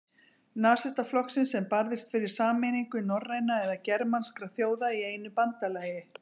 Nasistaflokksins, sem barðist fyrir sameiningu norrænna eða germanskra þjóða í einu bandalagi.